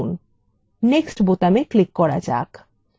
next বোতামে click করা যাক